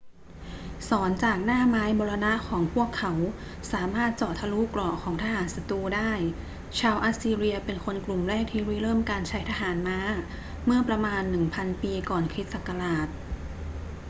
ศรจากหน้าไม้มรณะของพวกเขาสามารถเจาะทะลุเกราะของทหารศัตรูได้ ชาวอัสซีเรียเป็นคนกลุ่มแรกที่ริเริ่มการใช้ทหารม้าเมื่อประมาณ 1000 ปีก่อนคริสต์ศักราช